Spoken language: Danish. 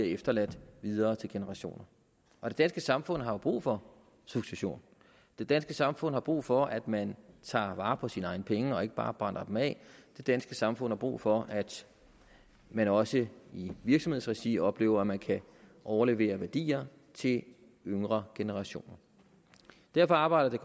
efterladt videre til generationer og det danske samfund har jo brug for succession det danske samfund har brug for at man tager vare på sine egne penge og ikke bare brænder dem af det danske samfund har brug for at man også i en virksomheds regi oplever at man kan overlevere værdier til yngre generationer derfor arbejder